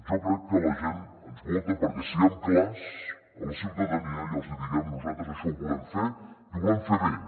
jo crec que la gent ens vota perquè siguem clars a la ciutadania i els hi diguem nosaltres això ho volem fer i ho volem fer bé